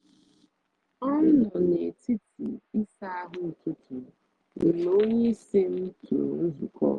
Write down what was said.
a m nọ n’etiti isa ahu ụtụtụ m mgbe onyeisi m tụrụ nzukọ